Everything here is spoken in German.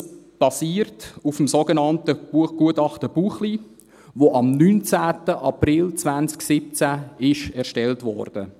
Dies basiert auf dem sogenannten Gutachten Buchli, das am 19. April 2017 erstellt wurde.